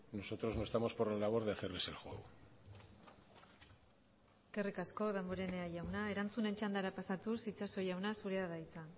nosotros no estamos por la labor de hacerles el juego eskerrik asko damborenea jauna erantzunen txandara pasatuz itxaso jauna zurea da hitza